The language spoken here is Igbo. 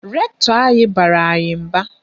Rektọ anyị bara anyị mba.